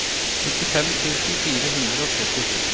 nittifem tusen fire hundre og trettisju